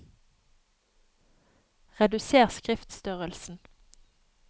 Reduser skriftstørrelsen